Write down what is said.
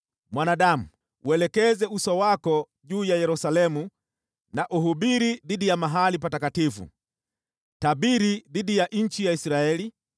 “Mwanadamu, uelekeze uso wako juu ya Yerusalemu na uhubiri dhidi ya mahali patakatifu. Tabiri dhidi ya nchi ya Israeli